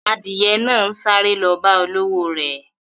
Adiye náà ń sáré lọ bá olówò re.